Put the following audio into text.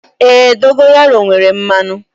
Èé, dogayaru nwere mmanụ.